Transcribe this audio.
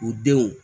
U denw